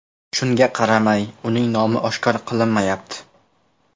Shunga qaramay, uning nomi oshkor qilinmayapti.